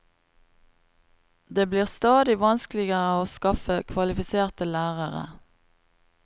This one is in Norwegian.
Det blir stadig vanskeligere å skaffe kvalifiserte lærere.